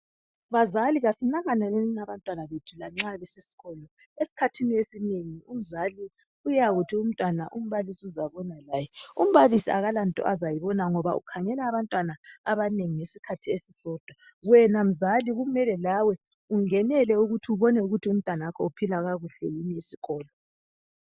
Bazali asinakaleleni abantwana bethu nxa besesikolo esikhathi esinengi umzali uyakuthi umntwana umbalisi uzabona laye, umbalisi akulanto azayibona ngoba ukhangela abantwana abanengi ngesikhathi esisodwa wena mzali kumele lawe ungenele ukuthi ubone ukuthi umntanakho uphila kakuhle esikolo.